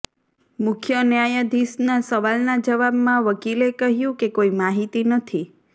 મુખ્ય ન્યાયાધીશના સવાલના જવાબમાં વકીલે કહ્યું કે કોઈ માહિતી નથી